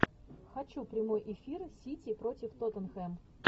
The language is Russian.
хочу прямой эфир сити против тоттенхэм